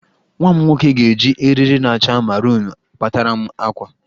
Nwa m nwoke ga-eji eriri na-acha marunu kpataram àkwá